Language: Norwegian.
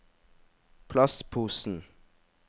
plastposen